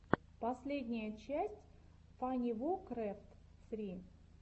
последняя часть фанивокрэфт сри